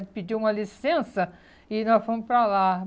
Ele pediu uma licença e nós fomos para lá.